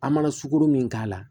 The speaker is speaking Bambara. An mana sukoro min k'a la